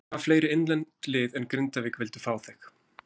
Hvaða fleiri innlend lið en Grindavík vildu fá þig?